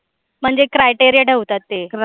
म्हणजे criteria ठेवतात ते.